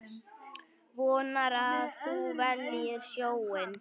Vonar að hún velji sjóinn.